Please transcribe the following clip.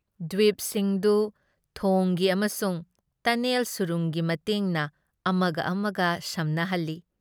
ꯗ꯭ꯋꯤꯞꯁꯤꯡꯗꯨ ꯊꯣꯡꯒꯤ ꯑꯃꯁꯨꯡ ꯇꯅꯦꯜ ꯁꯨꯔꯨꯡꯒꯤ ꯃꯇꯦꯡꯅ ꯑꯃꯒ ꯑꯃꯒ ꯁꯝꯅꯍꯜꯂꯤ ꯫